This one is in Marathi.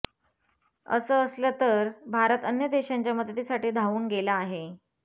असं असलं तर भारत अन्य देशांच्या मदतीसाठीही धावून गेला आहे